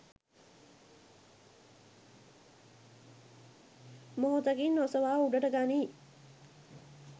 මොහොතකින් ඔසවා උඩට ගනියි.